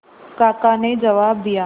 काका ने जवाब दिया